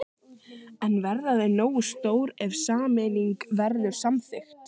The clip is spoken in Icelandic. En verða þau nógu stór ef sameining verður samþykkt?